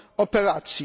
operacji.